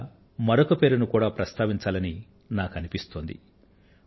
ఇవాళ మరొక పేరును కూడా ప్రస్తావించాలని నాకు అనిపిస్తోంది